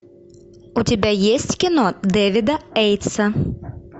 у тебя есть кино дэвида эйтса